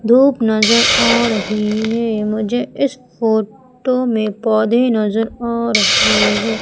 धूप नजर आ रही है मुझे इस फोटो में पौधे नजर आ रहे हैं।